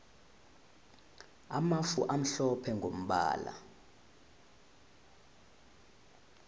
amafu amhlophe mgombala